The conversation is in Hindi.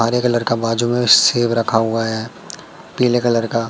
हरे कलर का बाजू में सेब रखा हुआ है पीले कलर का।